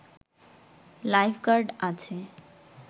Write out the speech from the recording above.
life guard আছে